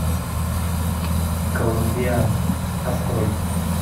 коломбиана открой